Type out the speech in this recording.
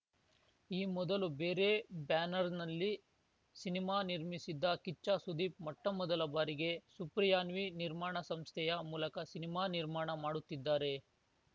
ಈ ಮೊದಲು ಬೇರೆ ಬ್ಯಾನರ್‌ನಲ್ಲಿ ಸಿನಿಮಾ ನಿರ್ಮಿಸಿದ್ದ ಕಿಚ್ಚ ಸುದೀಪ್‌ ಮೊಟ್ಟಮೊದಲ ಬಾರಿಗೆ ಸುಪ್ರಿಯಾನ್ವಿ ನಿರ್ಮಾಣ ಸಂಸ್ಥೆಯ ಮೂಲಕ ಸಿನಿಮಾ ನಿರ್ಮಾಣ ಮಾಡುತ್ತಿದ್ದಾರೆ